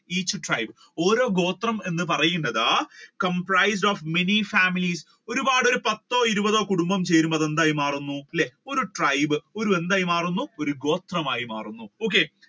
each tribes ഓരോ ഗോത്രം എന്ന് പറയുന്നത് comprised of many families ഒരുപാട് ഒരു പത്തോ ഇരുപതോ കുടുംബം ചേരുമ്പോ അത് എന്തായി മാറുന്നു. അല്ലെ ഒരു tribe ഒരു എന്തായി മാറുന്നു ഒരു ഗോത്രമായി മാറുന്നു okay